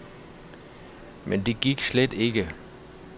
Men det gik slet ikke.